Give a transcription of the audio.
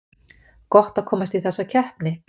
Gott að komast í þessa keppni